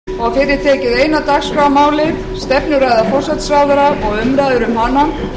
gengið er til dagskrár og tekið fyrir eina dagskrármálið stefnuræða forsætisráðherra og umræður um hana